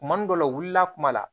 Kuma dɔ la u wulila kuma la